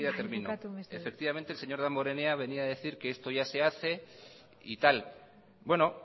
termino el señor damborenea venía a decir que esto ya se hace y tal bueno